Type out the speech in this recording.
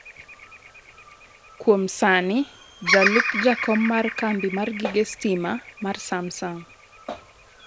kuom sani jalup jakom mar kambi mar gige stima mar Samsung,